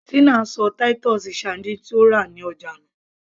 Tina ṣọ titus sardines tí ó rà ní ọjà nù